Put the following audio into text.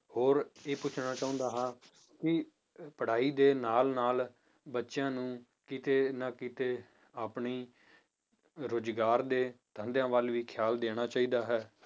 ਹੋਰ ਇਹ ਪੁੱਛਣਾ ਚਾਹੁੰਦਾ ਹਾਂ ਕਿ ਪੜ੍ਹਾਈ ਦੇ ਨਾਲ ਨਾਲ ਬੱਚਿਆਂ ਨੂੰ ਕਿਤੇ ਨਾ ਕਿਤੇ ਆਪਣੀ ਰੁਜ਼ਗਾਰ ਦੇ ਧੰਦਿਆਂ ਵੱਲ ਵੀ ਖਿਆਲ ਦੇਣਾ ਚਾਹੀਦਾ ਹੈ